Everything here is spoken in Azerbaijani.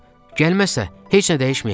Gəlməsə, heç nə dəyişməyəcək.